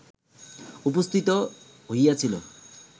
উপস্থিত হইয়াছিল